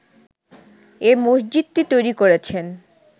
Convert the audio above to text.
এ মসজিদটি তৈরি করেছেন